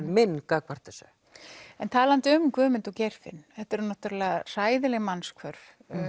minn gagnvart þessu en talandi um Guðmund og Geirfinn þetta eru náttúrulega hræðileg mannshvörf